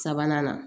Sabanan na